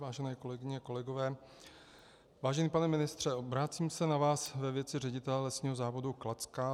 Vážené kolegyně, kolegové, vážený pane ministře, obracím se na vás ve věci ředitele Lesního závodu Kladská.